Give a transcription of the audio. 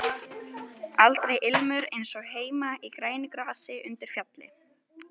Aldrei ilmur eins og heima í grænu grasi undir fjalli.